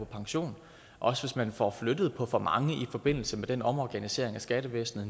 pension også hvis man nu får flyttet på for mange i forbindelse med den omorganisering af skattevæsenet